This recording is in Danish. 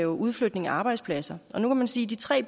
ud fordi han sagde